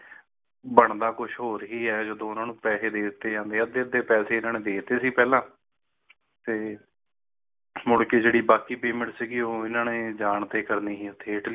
ਬਣਦਾ ਕੁਝ ਹੋਰ ਹੀ ਹੈ ਜਦੋ ਉਨ੍ਹਾਂ ਨੂੰ ਪੈਸੇ ਦੇਤੇ ਜਾਂਦੇ ਹੈ ਅੱਧੇ ਅੱਧੇ ਪੈਸੇ ਇਹਨਾਂ ਨੇ ਦੇਤੇ ਸੀ ਪਹਿਲਾਂ ਤੇ ਤੇ ਮੁੜ ਕੇ ਜੇੜੀ ਬਾਕੀ payment ਸੀ ਓਹ ਇਨ੍ਹਾਂ ਨੇ ਜਾਣ ਤੇ ਕਰਨੀ ਸੀ ਓਥੇ ਇਟਲੀ